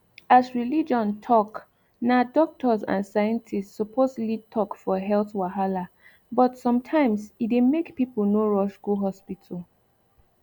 as religion talk na doctors and scientists suppose lead talk for health wahala but sometimes e dey make people no rush go hospital